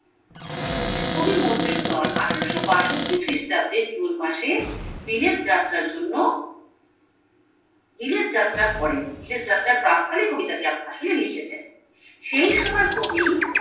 কবি মধুসুধন আঠারোশো বাষট্টি খ্রিস্টাব্দে জুন মাসে বিলেত যাত্রার জন্য বিলেত যাত্রা করেন বিলেত যাত্রার প্রাক্কালে কবি আসলে লিখছেন সেই সময় কবি